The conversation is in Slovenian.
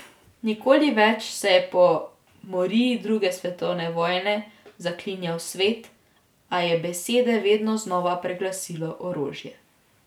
Nikoli več, se je po moriji druge svetovne vojne zaklinjal svet, a je besede vedno znova preglasilo orožje.